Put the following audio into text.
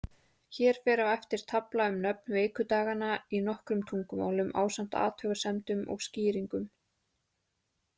Hér fer á eftir tafla um nöfn vikudaganna í nokkrum tungumálum, ásamt athugasemdum og skýringum.